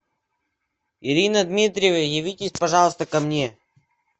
ирина дмитриева явитесь пожалуйста ко мне